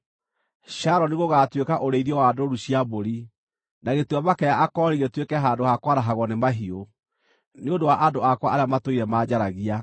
Sharoni gũgaatuĩka ũrĩithio wa ndũũru cia mbũri, na Gĩtuamba-kĩa-Akori gĩtuĩke handũ ha kwarahagwo nĩ mahiũ, nĩ ũndũ wa andũ akwa arĩa matũire manjaragia.